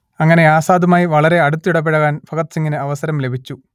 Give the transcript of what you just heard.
അങ്ങനെ ആസാദുമായി വളരെ അടുത്തിടപഴകാൻ ഭഗത് സിംഗിന് അവസരം ലഭിച്ചു